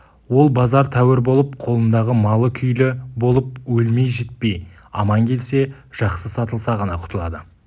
ол базар тәуір болып қолындағы малы күйлі болып өлмей-жітпей аман келсе жақсы сатылса ғана құтылады